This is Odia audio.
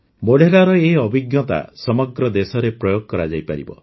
ମୋଢେରାର ଏହି ଅଭିଜ୍ଞତା ସମଗ୍ର ଦେଶରେ ପ୍ରୟୋଗ କରାଯାଇପାରିବ